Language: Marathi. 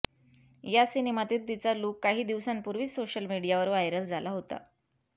या सिनेमातील तिचा लूक काही दिवसांपूर्वी सोशल मीडियावर व्हायरल झाला होता